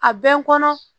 A bɛ n kɔnɔ